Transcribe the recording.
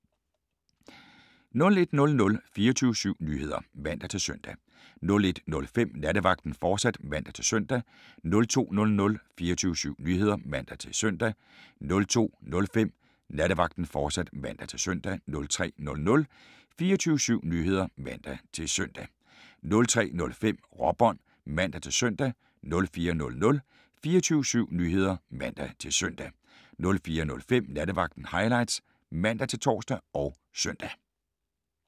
01:00: 24syv Nyheder (man-søn) 01:05: Nattevagten, fortsat (man-søn) 02:00: 24syv Nyheder (man-søn) 02:05: Nattevagten, fortsat (man-søn) 03:00: 24syv Nyheder (man-søn) 03:05: Råbånd (man-søn) 04:00: 24syv Nyheder (man-søn) 04:05: Nattevagten Highlights (man-tor og søn)